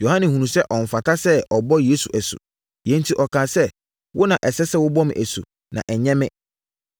Yohane hunuu sɛ ɔmfata sɛ ɔbɔ Yesu asu. Yei enti, ɔkaa sɛ, “Wo na ɛsɛ sɛ wobɔ me asu, na ɛnyɛ me.”